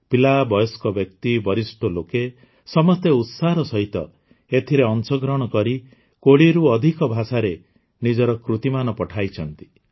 ପିଲା ବୟସ୍କ ବ୍ୟକ୍ତି ବରିଷ୍ଠ ଲୋକେ ସମସ୍ତେ ଉତ୍ସାହର ସହିତ ଏଥିରେ ଅଂଶଗ୍ରହଣ କରି ୨୦ରୁ ଅଧିକ ଭାଷାରେ ନିଜର କୃତିମାନ ପଠାଇଛନ୍ତି